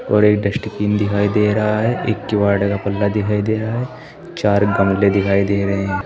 और एक दिखाई दे रहा है। एक किवाड़ का पल्ला दिखाई दे रहा है। चार गमले दिखाई दे रहे हैं।